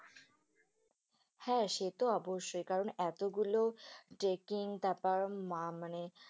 হ্যাঁ, সে তো অবশ্যই কারণ এতগুলো trekking তারপর মানে